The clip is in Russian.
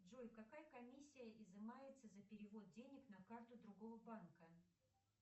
джой какая комиссия изымается за перевод денег на карту другого банка